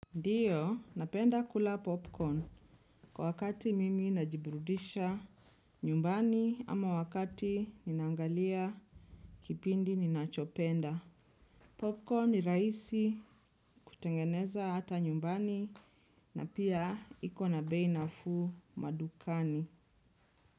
Ndiyo, napenda kula popcorn kwa wakati mimi najiburudisha nyumbani ama wakati ninangalia kipindi ninachopenda. Popcorn ni raisi kutengeneza hata nyumbani na pia iko na bei nafuu madukani.